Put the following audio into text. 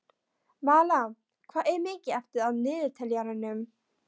Malla, hvað er mikið eftir af niðurteljaranum?